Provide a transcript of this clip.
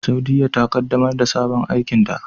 Saudiyya ta kaddamar da sabon aikinta.